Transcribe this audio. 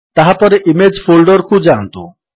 ତାହାପରେ image folder କୁ ଯାଆନ୍ତୁ